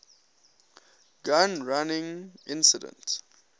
gun running incident